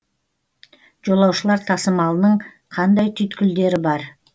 жолаушылар тасымалының қандай түйткілдері бар